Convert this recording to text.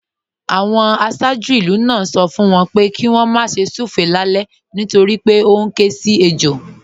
Àwọn aṣáájú ìlú náà ń sọ fún wọn pé kí wọ́n má ṣe súfèé lálẹ́ nítorí pé ó ń ké sí ejò